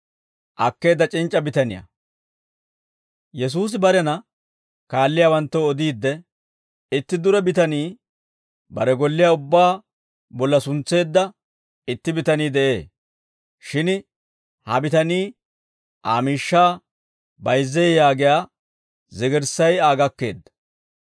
Yesuusi barena kaalliyaawanttoo odiidde, «Itti dure bitanii, bare golliyaa ubbaa bolla suntseedda itti bitanii de'ee; shin ha bitanii Aa miishshaa bayizzee yaagiyaa zigirssay Aa gakkeedda;